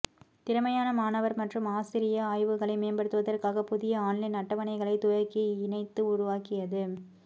திறமையான மாணவர் மற்றும் ஆசிரிய ஆய்வுகளை மேம்படுத்துவதற்காக புதிய ஆன்லைன் அட்டவணைகளைத் துவக்கி இணைத்து உருவாக்கியது